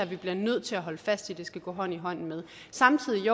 vi bliver nødt til at holde fast i det skal gå hånd i hånd med samtidig